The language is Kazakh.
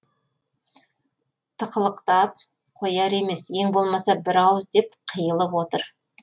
тықылықтап қояр емес ең болмаса бір ауыз деп қиылып отыр